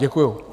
Děkuji.